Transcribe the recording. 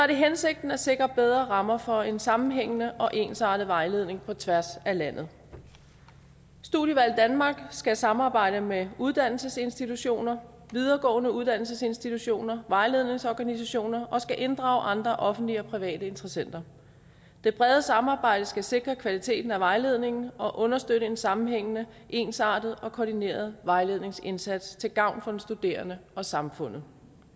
det hensigten at sikre bedre rammer for en sammenhængende og ensartet vejledning på tværs af landet studievalg danmark skal samarbejde med uddannelsesinstitutioner videregående uddannelsesinstitutioner og vejledningsorganisationer og skal inddrage andre offentlige og private interessenter det brede samarbejde skal sikre kvaliteten af vejledningen og understøtte en sammenhængende ensartet og koordineret vejledningsindsats til gavn for den studerende og samfundet